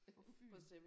På Fyn